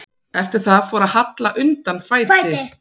Eftir það fór að halla undan fæti.